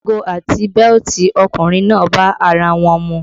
Ago àti bẹ́lítì ọkùnrin náà bá ara wọn mu